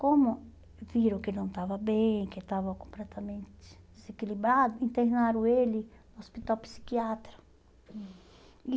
Como viram que ele não estava bem, que estava completamente desequilibrado, internaram ele no hospital psiquiatra. Hum